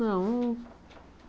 Não.